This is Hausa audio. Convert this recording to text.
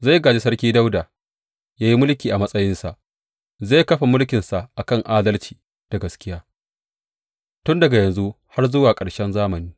Zai gāji sarki Dawuda, yă yi mulki a matsayinsa, zai kafa mulkinsa a kan adalci da gaskiya, tun daga yanzu har zuwa ƙarshen zamani.